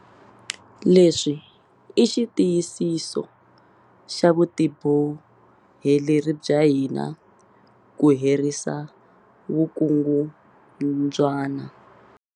Leswi i xitiyisiso xa vutiboheleri bya hina ku herisa vukungundzwana.